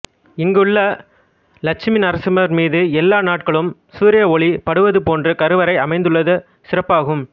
இங்குள்ள லட்சுமி நரசிம்மர் மீது எல்லா நாட்களும் சூரிய ஒளி படுவதைப்போன்று கருவறை அமைந்துள்ளது சிறப்பாகும்